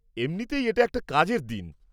এমনিতেই এটা একটা কাজের দিন।